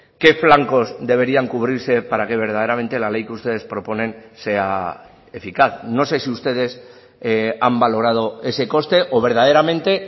qué flancos deberían cubrirse para que verdaderamente la ley que ustedes proponen sea eficaz no sé si ustedes han valorado ese coste o verdaderamente